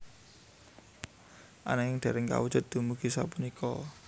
Ananging dereng kawujud dumugi sapunika